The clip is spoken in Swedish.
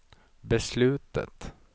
beslutet